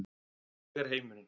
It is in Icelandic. Ég er heimurinn.